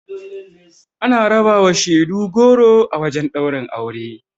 Ana rabawa shaidu goro a wajen ɗaurin aure.